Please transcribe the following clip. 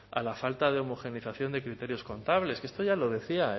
a la falta de homogeneización de criterios contables que esto